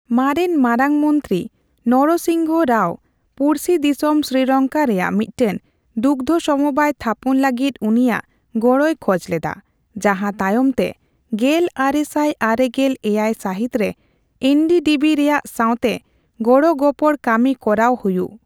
ᱢᱟᱨᱮᱱ ᱢᱟᱨᱟᱝ ᱢᱚᱱᱛᱨᱤ ᱱᱚᱨᱚᱥᱤᱝᱦᱚᱸ ᱨᱟᱣ ᱯᱩᱲᱥᱤ ᱫᱤᱥᱚᱢ ᱥᱨᱤᱞᱚᱝᱠᱟ ᱨᱮᱭᱟᱜ ᱢᱤᱫᱴᱮᱱ ᱫᱩᱜᱫᱽᱷᱚ ᱥᱚᱢᱚᱵᱟᱭ ᱛᱷᱟᱯᱚᱱ ᱞᱟᱹᱜᱤᱫ ᱩᱱᱤᱭᱟᱜ ᱜᱚᱲᱚᱭ ᱠᱷᱚᱡ ᱞᱮᱫᱟ, ᱡᱟᱸᱦᱟ ᱛᱟᱭᱚᱢᱛᱮ ᱜᱮᱞ ᱟᱨᱮ ᱥᱟᱭ ᱟᱨᱮᱜᱮᱞ ᱮᱭᱟᱭ ᱥᱟᱹᱦᱤᱛ ᱨᱮ ᱮᱱᱰᱤᱰᱤᱵᱤ ᱨᱮᱭᱟᱜ ᱥᱟᱣᱛᱮ ᱜᱚᱲᱚᱜᱚᱯᱚᱲᱚ ᱠᱟᱹᱢᱤ ᱠᱚᱨᱟᱣ ᱦᱩᱭᱩᱜ ᱾